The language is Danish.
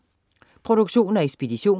Produktion og ekspedition: